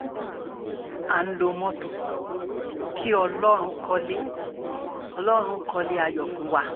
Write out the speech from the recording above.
à ń lo mọ́tò kí ọlọ́run kọ́lé ọlọ́run kọ́lé ayọ̀ fún wa